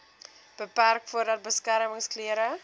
beperk voordat beskermingsklere